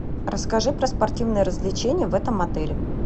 расскажи про спортивные развлечения в этом отеле